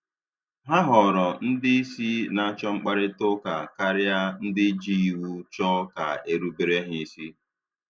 Ha họrọ ndị isi na-achọ mkparịtaụka karịa ndị ji iwu chọọ ka erubere ha isi